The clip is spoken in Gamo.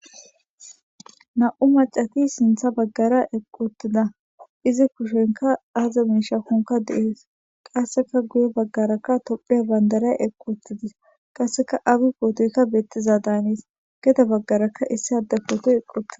Na'u maccati sinththa baggara eqqi uttida. Izi kushenkka aaza miishshi gidinkka qasseka guye baggara tophphiya bandiray eqqi uttides. Qasseka Abiy pootoy beetizada hanes. Gede baggarakka issi adde pootoy eqqi uttis.